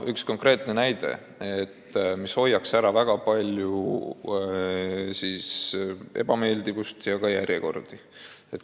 Üks konkreetne näide, kuidas saaks ära hoida väga palju ebameeldivust ja ka järjekordi.